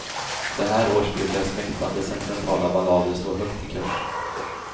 Så här års brukar smäktande sentimentala ballader stå högt i kurs.